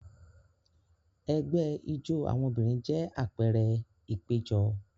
Ẹgbẹ́ ijó àwọn obìnrin jẹ́ àpẹẹrẹ ìpéjọ.